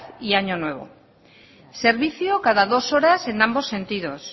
y año nuevo servicio cada dos horas en ambos sentidos